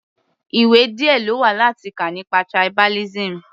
Ìwé díẹ̀ lówà láti kà nípa tribalism.